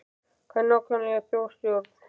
Hvað er nákvæmlega þjóðstjórn?